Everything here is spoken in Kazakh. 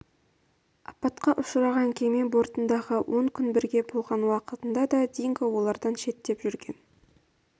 апатқа ұшыраған кеме бортындағы он күн бірге болған уақытында да динго олардан шеттеп жүрген